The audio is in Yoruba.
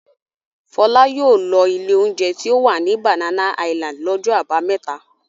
Fọlá yóò lọ ilé-oúnjẹ tí ó wà ní Banana Island lọ́jọ́ àbámẹ́ta.